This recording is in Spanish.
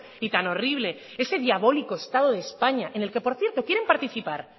y tan horrible ese diabólico estado de españa en el que por cierto quieren participar